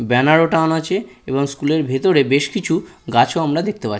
banner -ও টাঙানো আছে এবং স্কুলের ভেতরে বেশ কিছু গাছও আমরা দেখতে পা--